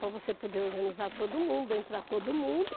Para você poder organizar todo mundo, entrar todo mundo